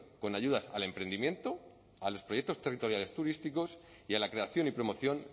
con ayudas al emprendimiento a los proyectos territoriales turísticos y a la creación y promoción